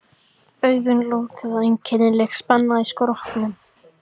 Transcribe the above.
Augun lokuð og einkennileg spenna í skrokknum.